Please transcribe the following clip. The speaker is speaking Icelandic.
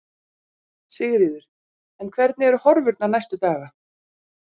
Sigríður: En hvernig eru horfurnar næstu daga?